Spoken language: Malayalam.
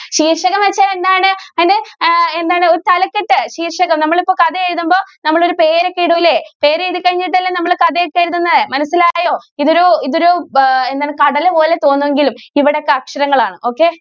ശീർഷകം എന്ന് വച്ചാൽ എന്താണ്? എന്താണ് ഒരു തലക്കെട്ട്. ശീർഷകം നമ്മൾ ഇപ്പൊ കഥ എഴുതുമ്പോൾ നമ്മൾ ഒരു പേര് ഒക്കെ ഇടുലെ പേര് എഴുതി കഴിഞ്ഞിട്ട് അല്ലെ നമ്മൾ കഥ ഒക്കെ എഴുതുന്നത് മനസ്സിലായോ ഇത് ഒരു ഇത് ഒരു എന്താണ് കടല് പോലെ തോന്നുമെങ്കിലും ഇവിടെ ഇതൊക്കെ അക്ഷരങ്ങൾ ആണ്. okay